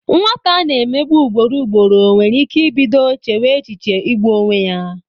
Nwata a na-emegbu ugboro ugboro nwere ike ibido chewe echiche igbu onwe ya.